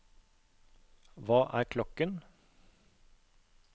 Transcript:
hva er klokken